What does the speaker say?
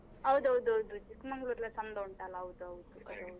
ಹೌದೌದೌದು. Chikkamangaluru ಎಲ್ಲ ಚಂದ ಉಂಟಲ್ಲ ಹೌದೌದು .